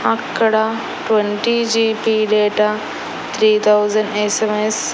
అక్కడ twenty GB data three thousand SMS --